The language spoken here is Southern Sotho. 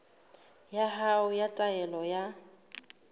ya hao ya taelo ya